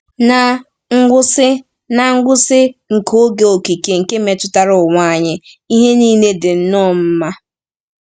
Ná ngwụsị Ná ngwụsị nke oge okike nke metụtara ụwa anyị, ihe niile “dị nnọọ mma.”